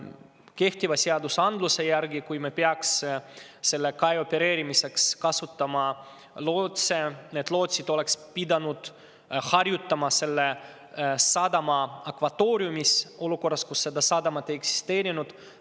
Kehtiva seaduse järgi on nii, et kui me peaks selle kai opereerimiseks kasutama lootse, siis oleksid need lootsid pidanud harjutama selle sadama akvatooriumis olukorras, kus seda sadamat ei eksisteerinud.